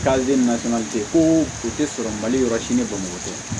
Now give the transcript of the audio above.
K'ale nata ko o tɛ sɔrɔ mali yɔrɔ si ne bamuso tɛ